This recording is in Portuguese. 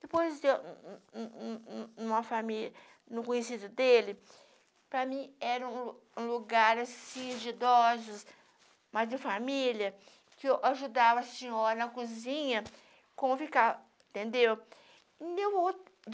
Depois deu... um um um uma família... no conhecido dele, para mim era um lugar, assim, de idosos, mas de família, que eu ajudava a senhora na cozinha, com o, entendeu? Não deu outra